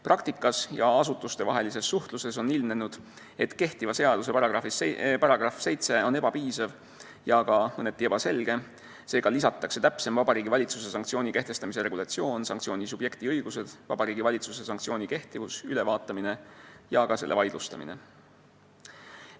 Praktikas ja asutustevahelises suhtluses on ilmnenud, et kehtiva seaduse § 7 on ebapiisav ja ka mõneti ebaselge, seega on nüüd kirjas täpsem Vabariigi Valitsuse sanktsiooni kehtestamise regulatsioon, sh sanktsiooni subjekti õigused, Vabariigi Valitsuse sanktsiooni kehtivus, ülevaatamine ja ka selle vaidlustamine.